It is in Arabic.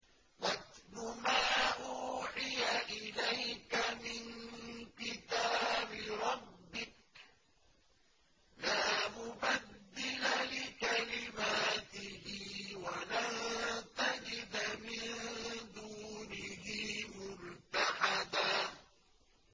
وَاتْلُ مَا أُوحِيَ إِلَيْكَ مِن كِتَابِ رَبِّكَ ۖ لَا مُبَدِّلَ لِكَلِمَاتِهِ وَلَن تَجِدَ مِن دُونِهِ مُلْتَحَدًا